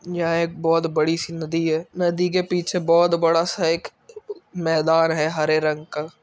यहाँ एक बहुत बड़ी सी नदी है नदी के पीछे बहुत बड़ा सा एक मैदान है हरे रंग का।